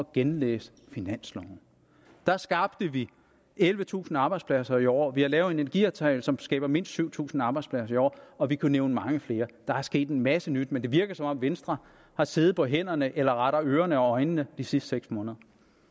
genlæse finansloven der skabte vi ellevetusind arbejdspladser i år vi har lavet en energiaftale som skaber mindst syv tusind arbejdspladser i år og vi kunne nævne meget mere der er sket en masse nyt men det virker som om venstre har siddet på hænderne eller rettere ørerne og øjnene de sidste seks måneder